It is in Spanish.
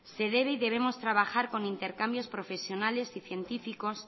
se debe y debemos trabajar con intercambios profesionales y científicos